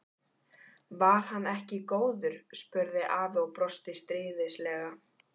Var hann ekki góður? spurði afi og brosti stríðnislega.